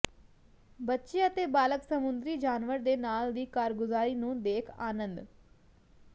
ਬੱਚੇ ਅਤੇ ਬਾਲਗ ਸਮੁੰਦਰੀ ਜਾਨਵਰ ਦੇ ਨਾਲ ਦੀ ਕਾਰਗੁਜ਼ਾਰੀ ਨੂੰ ਦੇਖ ਆਨੰਦ